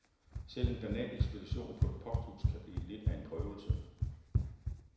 Selv en banal ekspedition på et posthus kan blive lidt af en prøvelse.